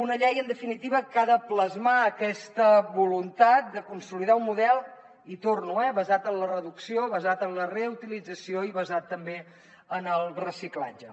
una llei en definitiva que ha de plasmar aquesta voluntat de consolidar un model hi torno eh basat en la reducció basat en la reutilització i basat també en el reciclatge